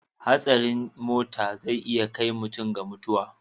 Hatsarin muta zai iya kai ga mutuwa.